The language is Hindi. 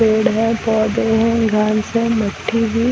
पेड़ हैं पौधे हैं गर्ल्स हैं बेठी हुई--